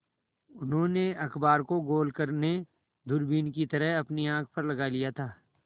उन्होंने अखबार को गोल करने दूरबीन की तरह अपनी आँख पर लगा लिया था